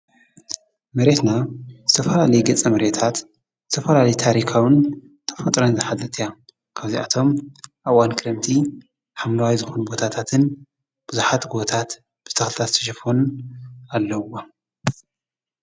መሬትና ዝተፈላለዩ ገፀ መሬታት ዝተፈላለዩ ታሪካውን ተፈጥሮን ዝሓዘት እያ ካብዚኦም እቶም ኣብ እዋን ከረምቲ ሓምለዋይ ዝኮኑ ቦታትን ቡዛሓት ጎቦታት ብተክልታት ዝተሸፈኑ ኣለውዋ::